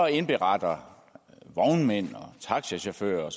indberetter vognmænd og taxachauffører og